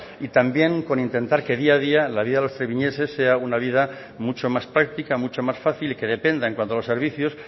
y también con intentar que día a día la vida de los treviñeses sea una vida mucho más práctica mucho más fácil y que dependa en cuanto a los servicios